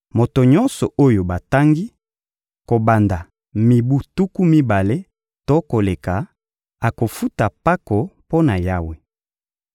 Moto nyonso oyo batangi, kobanda mibu tuku mibale to koleka, akofuta mpako mpo na Yawe.